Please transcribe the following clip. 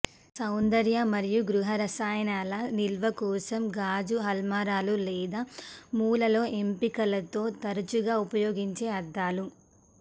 సౌందర్య మరియు గృహ రసాయనాల నిల్వ కోసం గాజు అల్మారాలు లేదా మూలలో ఎంపికలతో తరచుగా ఉపయోగించే అద్దాలు